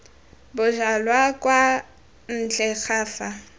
bojalwa kwa ntle ga fa